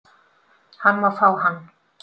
Hann má fá hann